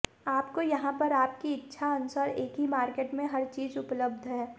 आपको यहां पर आपकी इच्छा अनुसार एक ही मार्केट में हर चीज उपलबध है